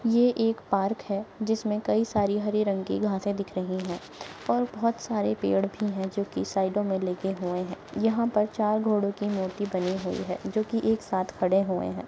ये एक पार्क है जिसमे कई सारी हरे रंग की घासे दिख रही है और बहोत सारे पेड़ भी है जो की साइडो मे लगे हुए है यहा पर चार घोड़ों की मूर्ति बनी हुए है जो की एक साथ खड़े हुए है।